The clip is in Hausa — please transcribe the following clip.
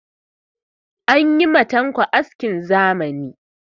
An yi ma tanko askin zamani.